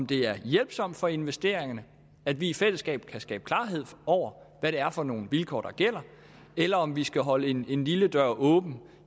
det er hjælpsomt for investeringerne at vi i fællesskab kan skabe klarhed over hvad det er for nogle vilkår der gælder eller om vi skal holde en en lille dør åben